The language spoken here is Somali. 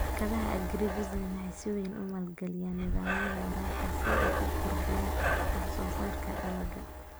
Shirkadaha Agribusiness waxay si weyn u maalgaliyaan nidaamyada waraabka si ay u kordhiyaan wax soo saarka dalagga.